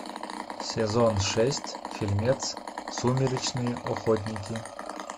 сезон шесть фильмец сумеречные охотники